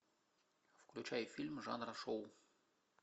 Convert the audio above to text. включай фильм жанра шоу